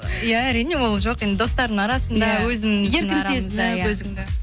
иә әрине ол жоқ енді достардың арасында өзіміздің арамызда иә